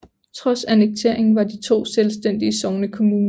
Trods annekteringen var de to selvstændige sognekommuner